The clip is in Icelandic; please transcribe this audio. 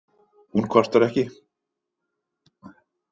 Hún kvartar ekki.